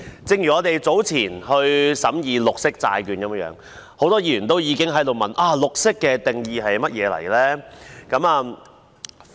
正如我們早前審議綠色債券，很多議員都已經問，"綠色"的定義是甚麼。